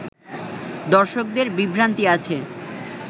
দর্শকদের বিভ্রান্তি আছে